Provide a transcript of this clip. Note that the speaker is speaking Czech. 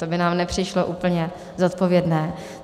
To by nám nepřišlo úplně zodpovědné.